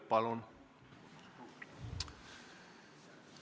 Palun!